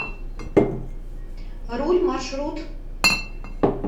руль маршрут